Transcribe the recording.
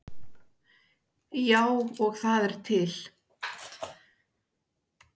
Já, og það er til.